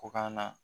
Ko ka na